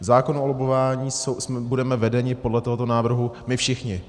V zákonu o lobbování budeme vedeni podle tohoto návrhu my všichni.